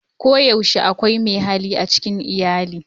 Koyaushe akwai mai hali a cikin iyali.